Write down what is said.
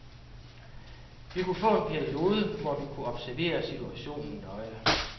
Vi kunne få en periode, hvor vi kunne observere situationen nøje.